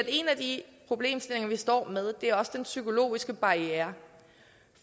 en af de problemstillinger vi står med er også den psykologiske barriere